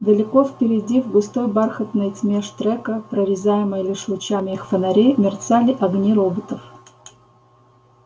далеко впереди в густой бархатной тьме штрека прорезаемой лишь лучами их фонарей мерцали огни роботов